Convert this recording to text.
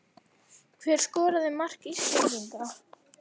Hver skoraði mark Íslendinga?